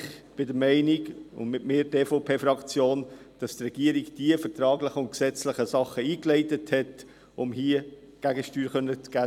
Ich bin der Meinung, und mit mir die EVP-Fraktion, dass die Regierung die vertraglichen und gesetzlichen Dinge eingeleitet hat, um hier Gegensteuer geben zu können.